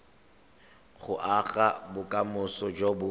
go aga bokamoso jo bo